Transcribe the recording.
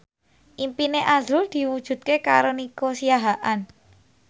impine azrul diwujudke karo Nico Siahaan